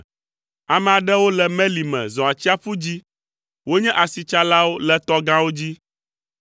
Ame aɖewo le meli me zɔ atsiaƒu dzi, wonye asitsalawo le tɔ gãwo dzi.